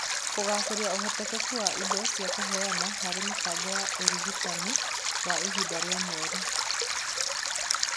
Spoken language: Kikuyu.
Kũgacĩrithia ũhotekeku wa indo cia kũheana harĩ mĩbango ya ũrigitani wa ihinda rĩa mweri